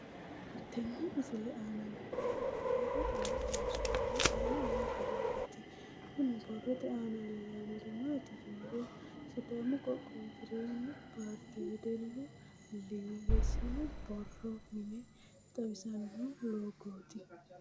Tenne misile aana noore borroteni xawiseemohu aane noo gariniiti. Kunni borrote aana leelanori maati yiniro sidaamu qoqqowi jireenyu paarte wedellu liige sinu borro mine xawisanno loogoti.